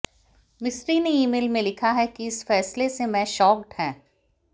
मिस्त्री ने ईमेल में लिखा है कि इस फैसले से मैं शॉक्ड हैं